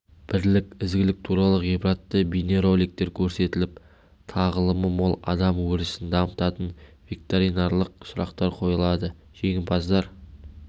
бірлік ізгілік туралы ғибратты бейнероликтер көрсетіліп тағылымы мол адам өрісін дамытатын викториналық сұрақтар қойылады жеңімпаздар